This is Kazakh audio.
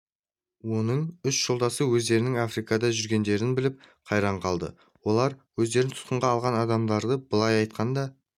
оның үш жолдасы өздерінің африкада жүргендерін біліп қайран қалды олар өздерін тұтқынға алған адамдардан былай айтқанда